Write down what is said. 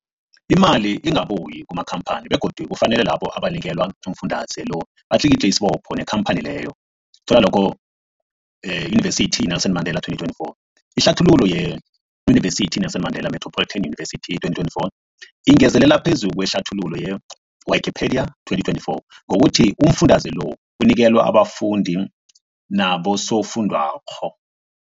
Imali ingabuyi kumakhamphani begodu kufanele labo abanikelwa umfundaze lo batlikitliki isibopho neenkhamphani leyo, Yunivesity i-Nelson Mandela 2024. Ihlathululo yeYunivesithi i-Nelson Mandela Metropolitan University, 2024, ingezelel phezu kwehlathululo ye-Wikipedia, 2024, ngokuthi umfundaze lo unikelwa abafundi nabosofundwakgho.